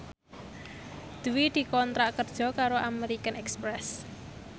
Dwi dikontrak kerja karo American Express